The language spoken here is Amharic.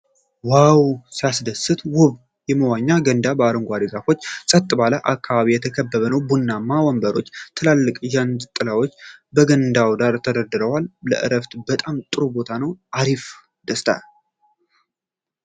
ዋው ሲያስደስት! ውብ የመዋኛ ገንዳ በአረንጓዴ ዛፎችና ፀጥ ባለ አካባቢ የተከበበ ነው። ቡናማ ወንበሮች እና ትላልቅ ዣንጥላዎች በገንዳው ዳር ተደርድረዋል። ለዕረፍት በጣም ጥሩ ቦታ! አሪፍ ደስታ!